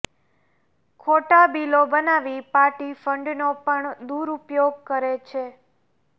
ખોટા બિલો બનાવી પાર્ટી ફંડનો પણ દુરૂપયોગ કરે છે